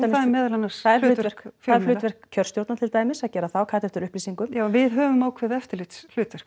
meðal annars hlutverk hlutverk kjörstjórna til dæmis að gera það og kalla eftir upplýsingum já en við höfum ákveðið eftirlitshlutverk